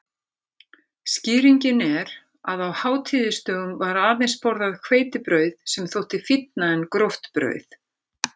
Skýringin er að á hátíðisdögum var aðeins borðað hveitibrauð sem þótti fínna en gróft brauð.